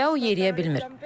Və o yeriyə bilmir.